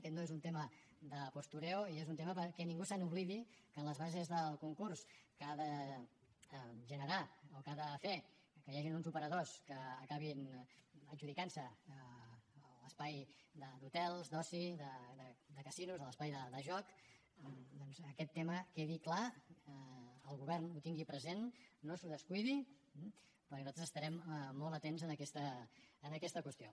aquest no és un tema de postureo i és un tema perquè ningú se n’oblidi que en les bases del concurs que ha de generar o que ha de fer que hi hagin uns operadors que acabin adjudicant se l’espai d’hotels d’oci de casinos de l’espai de joc doncs aquest tema quedi clar el govern el tingui present no se’l descuidi perquè nosaltres estarem molt atents en aquesta qüestió